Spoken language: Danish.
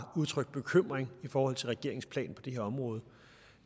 udtrykt bekymring i forhold til regeringens plan på det her område